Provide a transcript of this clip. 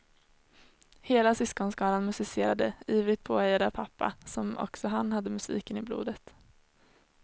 Hela syskonskaran musicerade, ivrigt påhejad av pappa, som också han hade musiken i blodet.